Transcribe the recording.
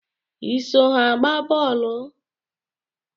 Ị so ha agba boolu?